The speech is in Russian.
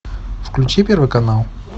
включи первый канал